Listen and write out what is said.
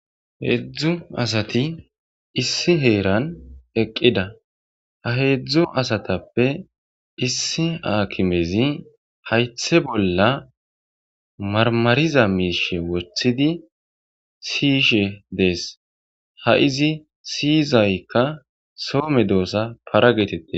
Heedzdzu asati issi heeran eqqida ha heedzdzu asatappe issi aakimezi haythe bolla marmariza miishe wocththidi siyishe dees ha izi siyizaykka soome doossa paragetette.